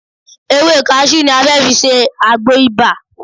Ewé kaṣú ni a fẹ́ fi ṣe agbo ibà